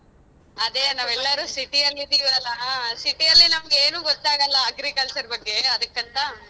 ಅದೇ ನಾವ್ ಎಲ್ಲರೂ city ಅಲ್ ಇದಿವಲ್ಲಾ city ಅಲ್ ನಮ್ಗೆ ಏನು ಗೊತ್ತಾಗಲ್ಲ agriculture ಬಗ್ಗೆ ಅದಕ್ಕಂತಾ.